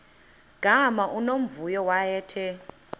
gama unomvuyo wayethe